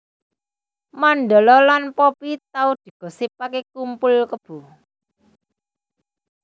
Mandala lan Poppy tau digosipake kumpul kebo